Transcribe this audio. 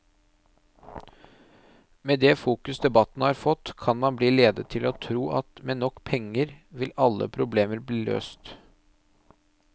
Med det fokus debatten har fått, kan man bli ledet til å tro at med nok penger ville alle problemer bli løst.